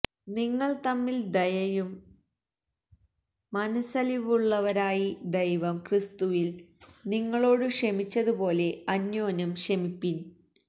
നിങ്ങൾ തമ്മിൽ ദയയും മനസ്സലിവുമുള്ളവരായി ദൈവം ക്രിസ്തുവിൽ നിങ്ങളോടു ക്ഷമിച്ചതുപോലെ അന്യോന്യം ക്ഷമിപ്പിൻ